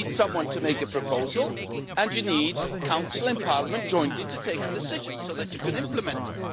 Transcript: You need someone to make a proposal, and you need Council and Parliament jointly to take a decision so that you can implement it.